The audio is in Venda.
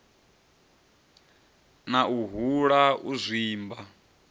na u hula u zwimba